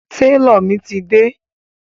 Tálọ̀ mi ti dé.